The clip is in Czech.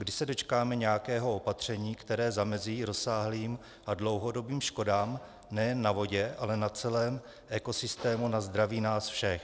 Kdy se dočkáme nějakého opatření, které zamezí rozsáhlým a dlouhodobým škodám nejen na vodě, ale na celém ekosystému, na zdraví nás všech?